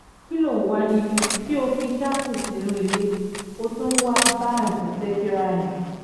kí ló ń wà níbí ṣé o fi sáfù sínú ilé ó tún wáá bá àùntì ṣèkìrà ni